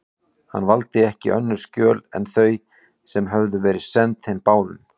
Hann valdi ekki önnur skjöl en þau, sem höfðu verið send þeim báðum.